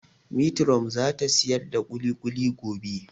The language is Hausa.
Metiron za ta siyar da kulikuli gobe